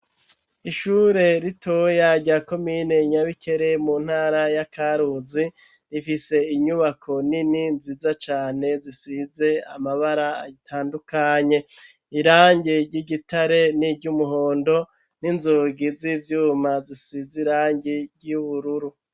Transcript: Ishure rito rya komine Nyabikere mu ntara ya Karuzi rifise inyubako nini nziza cane zisize amabara atandukanye irangi ry'igitare niryu muhondo n'inzugi z'ivyuma zisize irangi ry'ubururu.